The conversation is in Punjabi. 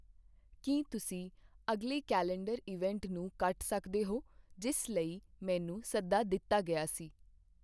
ਕੀ ਤੁਸੀਂ ਅਗਲੇ ਕੈਲੰਡਰ ਇਵੈਂਟ ਨੂੰ ਕੱਟ ਸਕਦੇ ਹੋ ਜਿਸ ਲਈ ਮੈਨੂੰ ਸੱਦਾ ਦਿੱਤਾ ਗਿਆ ਸੀ?